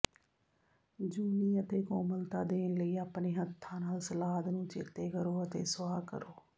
ਜੂਨੀ ਅਤੇ ਕੋਮਲਤਾ ਦੇਣ ਲਈ ਆਪਣੇ ਹੱਥਾਂ ਨਾਲ ਸਲਾਦ ਨੂੰ ਚੇਤੇ ਕਰੋ ਅਤੇ ਸੁਆਹ ਕਰੋ